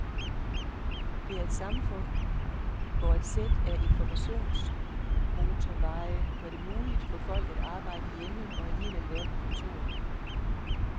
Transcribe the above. Det er et samfund, hvor et sæt af informationsmotorveje gør det muligt for folk at arbejde hjemme og alligevel være på kontoret.